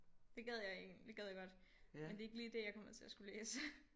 Det gad jeg egentlig det gad jeg godt men det er ikke lige det jeg kommer til at skulle læse